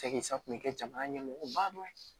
Cɛkisa kun bɛ kɛ jamana ɲɛmɔgɔba dɔ ye